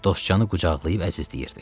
Dostcanı qucaqlayıb əzizləyirdi.